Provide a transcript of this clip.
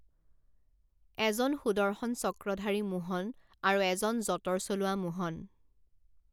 এজন সুদৰ্শন চক্ৰধাৰী মোহন আৰু এজন যঁতৰ চলোৱা মোহন।